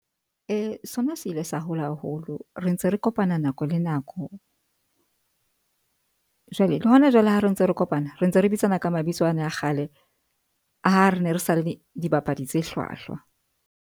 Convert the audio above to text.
Sona se ile sa hola haholo. Re ntse re kopana nako le nako jwale le hona jwale, ha re ntse re kopana re ntse re bitsana ka mabitso a ne a kgale ha re ne sa le dibapadi tse hlwahlwa.